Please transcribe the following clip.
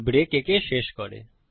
break একে শেষ করে